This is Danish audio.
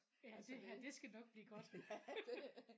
Ja det her det skal nok blive godt